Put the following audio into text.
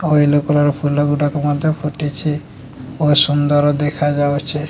ଫୁଲ ଗୁଡ଼ିକ ଫୁଟିଛି ବହୁତ ସୁନ୍ଦର ଦେଖାଯାଉଛି।